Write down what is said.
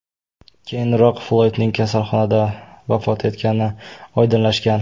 Keyinroq Floydning kasalxonada vafot etgani oydinlashgan.